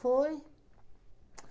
Foi. Pts